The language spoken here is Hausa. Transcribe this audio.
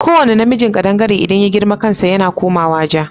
Ko wane namijin kadangare idan ya girma kansa yana komawa ja